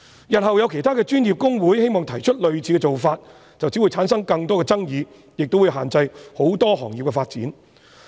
日後有其他專業公會希望提出類似的做法，便只會產生更多的爭議，亦會限制很多行業的發展。